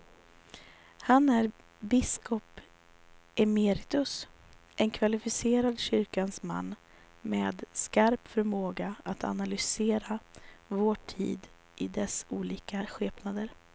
Han är biskop emeritus, en kvalificerad kyrkans man med skarp förmåga att analysera vår tid i dess olika skepnader.